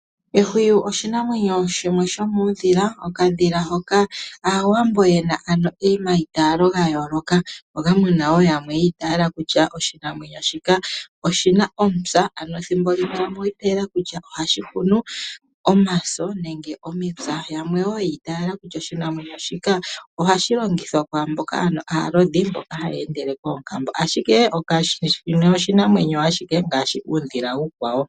Ehwiyu oshinamwenyo shimwe shomuudhila, okadhila hoka Aawambo ye na omaitaalo ga yooloka moka mu na wo yamwe yi itaala kutya oshinamwenyo shika oshi na omupya. Ethimbo limwe ohashi hunu omaso nenge omipya. Yamwe oya itaala kutya ohashi longithwa kwaa mboka aalodhi, mboka haya endele koonkambo. Shino oshinamwenyo ashike ngaashi iinamwenyo iikwawo.